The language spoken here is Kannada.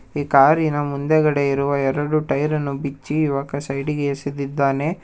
ಕಾರಿನ ಮುಂದೆಗಡೆ ಇರುವ ಎರಡು ಟೈರನ್ನು ಬಿಚ್ಚಿ ಇವಾಗ ಸೈಡ್ ಗೆ ಎಸೆದಿದ್ದಾನೆ.